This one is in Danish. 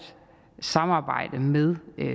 samarbejde med